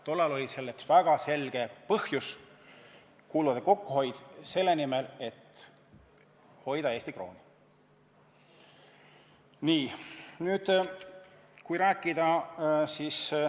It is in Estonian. Tollal oli selleks väga selge põhjus: kulude kokkuhoid selle nimel, et hoida Eesti krooni.